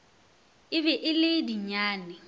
e be e le dinyane